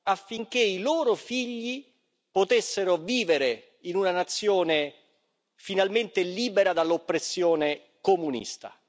affinché i loro figli potessero vivere in una nazione finalmente libera dall'oppressione comunista.